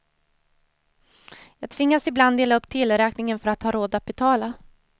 Jag tvingas ibland dela upp teleräkningen för att ha råd att betala.